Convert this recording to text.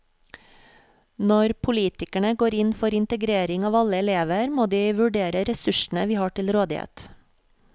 Når politikerne går inn for integrering av alle elever, må de vurdere ressursene vi har til rådighet.